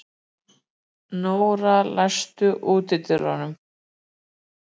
Nóra, læstu útidyrunum.